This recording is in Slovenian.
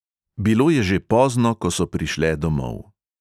Bilo je že pozno, ko so prišle domov.